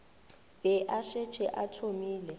be a šetše a thomile